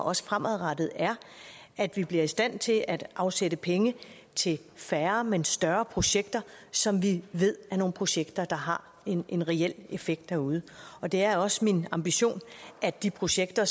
også fremadrettet er at vi bliver i stand til at afsætte penge til færre men større projekter som vi ved er nogle projekter der har en reel effekt derude og det er også min ambition at de projekter